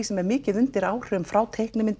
sem er mikið undir áhrifum frá